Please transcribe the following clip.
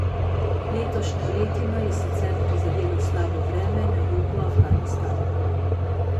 Letošnjo letino je sicer prizadelo slabo vreme na jugu Afganistana.